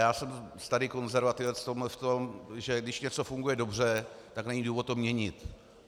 Já jsem starý konzervativec v tom, že když něco funguje dobře, tak není důvod to měnit.